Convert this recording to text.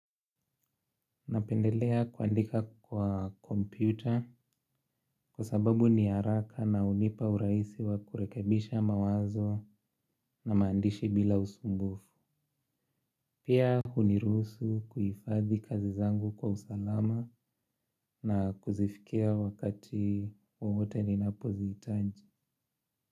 Napendelea kuandika kwa kompyuta kwa sababu ni haraka na hunipa urahisi wa kurekebisha mawazo na maandishi bila usumbufu. Pia huniruhusu kuhifadhi kazi zangu kwa usalama na kuzifikia wakati wowote ninapo zihitaji.